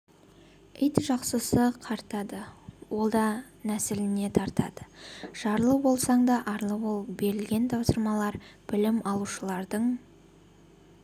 ет жақсысы қарта-ды ол да нәсіліне тартады жарлы болсаң да арлы бол берілген тапсырмалар білім алушылардың